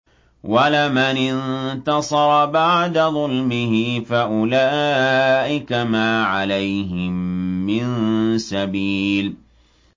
وَلَمَنِ انتَصَرَ بَعْدَ ظُلْمِهِ فَأُولَٰئِكَ مَا عَلَيْهِم مِّن سَبِيلٍ